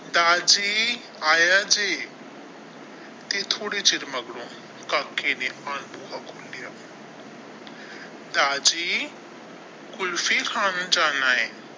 ਦਾਰ ਜੀ ਆਇਆ ਜੀ ਤੇ ਥੋੜੇ ਚਿਰ ਮਗਰੋਂ ਕਾਕੇ ਨੇ ਬੂਹਾ ਖੁੱਲਿਆ ਦਾਰ ਜੀ ਕੁਲਫੀ ਖਾਣ ਜਾਣਾ ਹੈ।